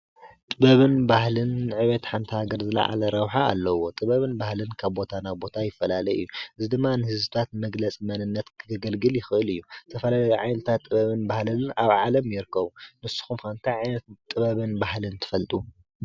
ጥበብን ባህልን ንዕብየት ሓንቲ ሃገር ዝለዓለ ረብሓ ኣለዎ። ጥበብን ባህልን ካብ ቦታ ናብ ቦታ ይፈላለ እዩ። እዚ ድማ ንህዝብታት መግለፂ መንነት ከገልግል ይኽእል እዩ ።ዝተፈላለዩ ዓይነት ጥበብን ባህልን ኣብ ዓለም ይርከቡ። ንስኹም እንታይ ዓይነት ጥበብን ባህልን ትፈልጡ?